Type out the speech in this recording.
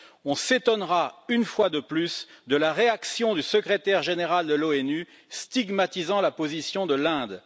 On s'étonnera, une fois de plus, de la réaction du secrétaire général de l'ONU, stigmatisant la position de l'Inde.